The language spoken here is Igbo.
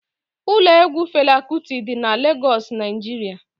Ụlọ egwu Fela Kuti dị n'Legoosu, Naijiria